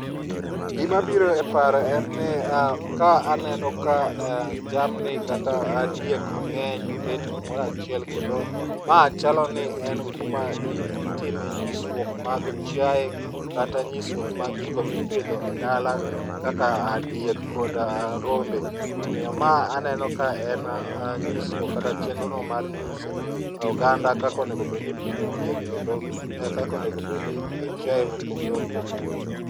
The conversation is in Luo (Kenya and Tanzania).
Gima biro e paro en ni ka aneno ka jamni kata diek mangeny oket kumoro achiel kendo ma chaloni en kuma itime nyisruok mag chiaye kata nyisruok mag gigo mipidho e dala kaka diek kod rombe. Omiyo ma aneno ka en nyisruok kata chenro no mar nyiso oganda kaka onego obedni ipidho diek kendo kaka onego obed ni ipidho chiaye mopogore opogore